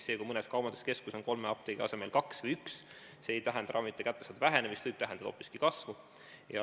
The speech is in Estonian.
See, kui mõnes kaubanduskeskuses on kolme apteegi asemel kaks või üks, ei tähenda ravimite kättesaadavuse vähenemist, see võib tähendada hoopiski kasvu.